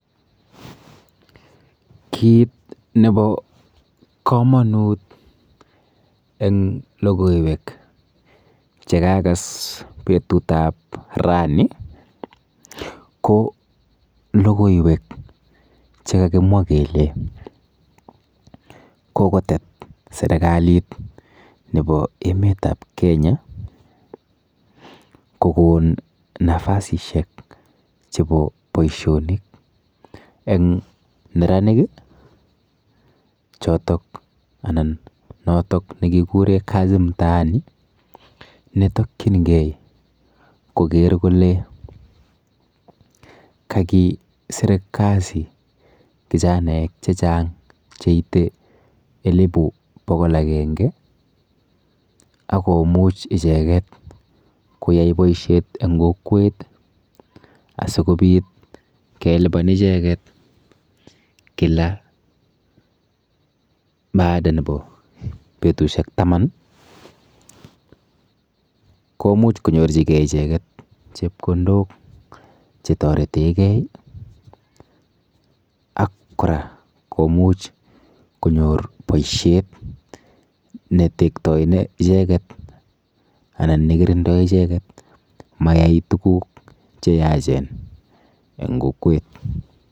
Kiit nebo komonut eng lokoiwek chekakas betu ap raini ko lokoiwek chekakimwa kele kokotet serikalit nebo emet ap Kenya kokon nafasishek chebo boishonik eng neranik chotok anan notok nekikure kazi mtaani netokchingei koker kole kakiser kazi kijanaek chechang cheitei elipu bokol akenge akomuch icheket koyai boishet eng kokwet asikobit kelipan icheket kila baada nebo betushek taman komuch konyorchingei icheket chepkondok chetoretegei ak kora komuch konyor boishet netektoi icheket anan nekirindoi icheket mayai tukuk cheyachen eng kokwet.